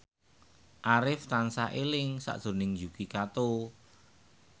Arif tansah eling sakjroning Yuki Kato